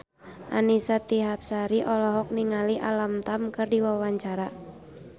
Annisa Trihapsari olohok ningali Alam Tam keur diwawancara